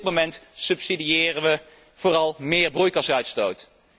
Op dit moment subsidiëren wij vooral meer broeikasuitstoot.